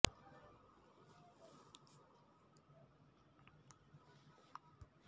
ಪೊಲೀಸರ ಖಡಕ್ ಎಚ್ಚರಿಕೆಯಿಂದ ರಾವುತ್ ಸೈಲೆಂಟ್ ಆಗಿ ಬಂದು ಸೈಲೆಂಟ್ ಆಗಿ ಹೋಗಿದ್ದಾರೆ